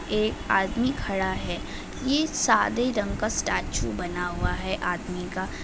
एक आदमी खड़ा है। यह सादे रंग का स्टेचू बना हुआ है आदमी का।